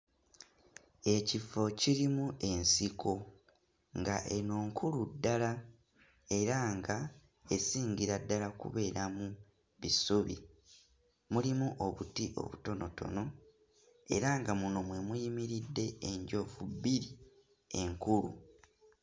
Ekifo kirimu ensiko nga eno nkulu ddala era nga esingira ddala kubeeramu bisubi mulimu obuti obutonotono era nga muno mwe muyimiridde enjovu bbiri enkulu.